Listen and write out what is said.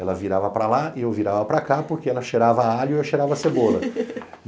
Ela virava para lá e eu virava para cá porque ela cheirava a alho e eu cheirava a cebola.